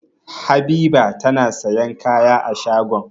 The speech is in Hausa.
Habiba tana sayan kaya a shagon.